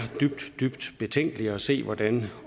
dybt dybt betænkeligt at se hvordan